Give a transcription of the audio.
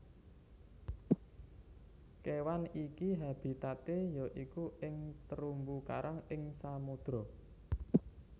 Kéwan iki habitaté ya iku ing terumbu karang ing samodra